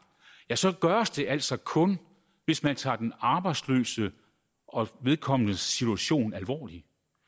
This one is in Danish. så gøres det altså kun hvis man tager den arbejdsløse og vedkommendes situation alvorligt